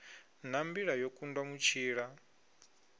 na mbila yo kundwa mutshila